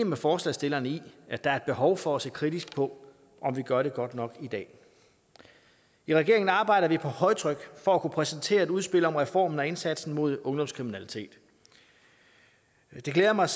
med forslagsstillerne i at der er et behov for at se kritisk på om vi gør det godt nok i dag i regeringen arbejder vi på højtryk for at kunne præsentere et udspil om reformen og indsatsen mod ungdomskriminalitet det glæder mig